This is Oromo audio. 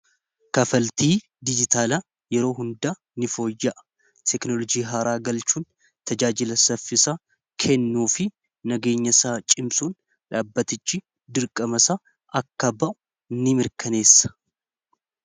kafaltii dijitaalaa yeroo hundaa ni fooyya'a teknolojii haaraa galchuun tajaajila saffisaa kennuu fi nageenya saa cimsuun dhaabbatichi dirqamasa akkaba'u ni mirkaneessa